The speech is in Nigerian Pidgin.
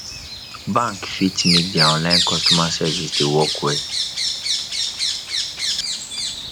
bank fit make their online customer service dey work well